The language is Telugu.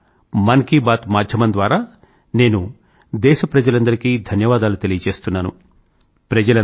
ఇవాళ మన్ కీ బాత్ మాధ్యమం ద్వారా నేను దేశ ప్రజలందరికీ ధన్యవాదాలు తెలుపుతున్నాను